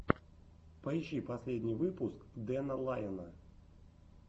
поищи последний выпуск дэна лайона